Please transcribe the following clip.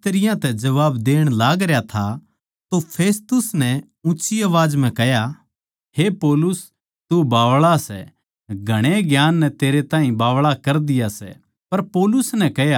जिब वो इस तरियां तै जबाब देण लागरया था तो फेस्तुस नै ठाड्डू बोलकै कह्या हे पौलुस तू बावळा सै घणै ज्ञान नै तेरै ताहीं बावळा कर दिया सै